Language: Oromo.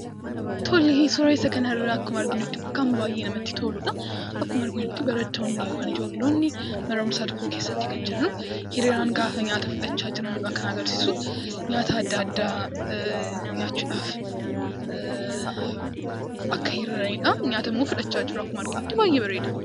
Suuraa kanarraa akkuma arginu kan baay'ee namatti toludha. Akkuma arginutti barattoonnii mana barumsaa tokkoo keessatti kan jiran hiriyaan gaafa nyaata fudhachaa jiranidha kan agarsiisu. Nyaata adda addaa nyaachuudhaaf akka hiriiranidha. Nyaatammoo fudhachaa jiru akkuma arginutti baay'ee bareeda.